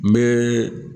N bɛ